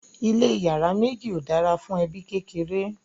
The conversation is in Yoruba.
ilé iyàrá méjì ọ dára fún ẹbi kékeré